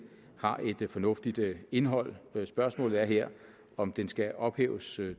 har et fornuftigt indhold spørgsmålet er her om den skal ophæves